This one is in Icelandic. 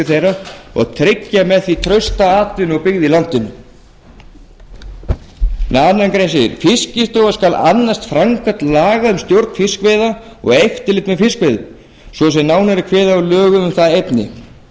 þeirra og tryggja með því trausta atvinnu og byggð í landinu í annarri grein segir fiskistofa skal annast framkvæmd laga um stjórn fiskveiða og eftirlit með fiskveiðum svo sem nánar er kveðið á um í lögum um það efni